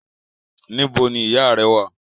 Níbo ni ìyáà rẹ́ wà?